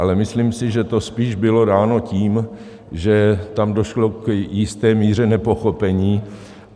Ale myslím si, že to spíš bylo dáno tím, že tam došlo k jisté míře nepochopení.